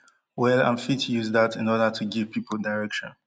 well and fit use dat in order to give pipo direction